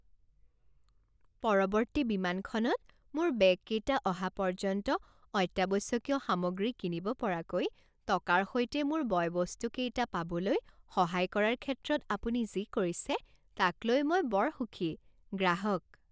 পৰৱৰ্তী বিমানখনত মোৰ বেগকেইটা অহা পৰ্যন্ত অত্যাৱশ্যকীয় সামগ্ৰী কিনিব পৰাকৈ টকাৰ সৈতে মোৰ বয় বস্তকেইটা পাবলৈ সহায় কৰাৰ ক্ষেত্ৰত আপুনি যি কৰিছে তাক লৈ মই বৰ সুখী। গ্ৰাহক